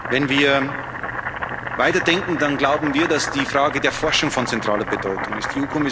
schauen. Wenn wir weiterdenken, dann glauben wir, dass die Frage der Forschung von zentraler Bedeutung